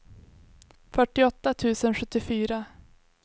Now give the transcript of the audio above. fyrtioåtta tusen sjuttiofyra